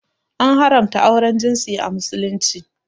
An haramta auren jinsi a Musulunci.